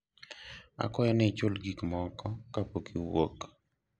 akwayo ni ichul gikmoko kapok iwuok